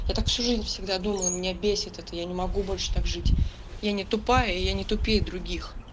я так всю жизнь всегда думала меня бесит это я не могу больше так жить я не тупая я не тупее других